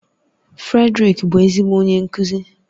Fredrick bụ ezigbo onye nkuzi